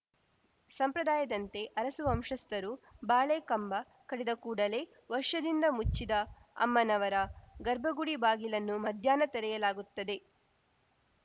ಸಂಪ್ರದಾಯದಂತೆ ಅರಸು ವಂಶಸ್ಥರು ಬಾಳೆಕಂಬ ಕಡಿದ ಕೂಡಲೇ ವರ್ಷದಿಂದ ಮುಚ್ಚಿದ್ದ ಅಮ್ಮನವರ ಗರ್ಭಗುಡಿ ಬಾಗಿಲನ್ನು ಮಧ್ಯಾಹ್ನ ತೆರೆಯಲಾಗುತ್ತದೆ